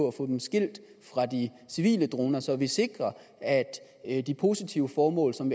og få dem skilt fra de civile droner så vi sikrer at de positive formål som